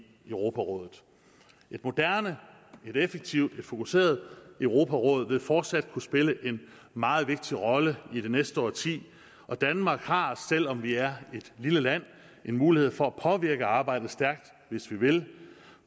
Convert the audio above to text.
europarådet et moderne et effektivt og fokuseret europaråd vil fortsat kunne spille en meget vigtig rolle i det næste årti og danmark har selv om vi er et lille land en mulighed for at påvirke arbejdet stærkt hvis vi vil